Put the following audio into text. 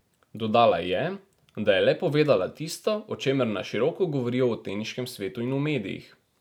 Dodala je, da je le povedala tisto, o čemer na široko govorijo v teniškem svetu in v medijih.